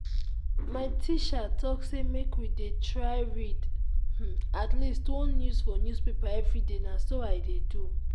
my teacher talk say make we dey try read um atleast one news for newspaper everyday na so i dey do